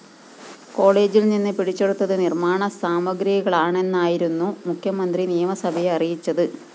കോളജില്‍ നിന്ന് പിടിച്ചെടുത്തത് നിര്‍മാണ സാമഗ്രികളാണെന്നായിരുന്നു മുഖ്യമന്ത്രി നിയമസഭയെ അറിയിച്ചത്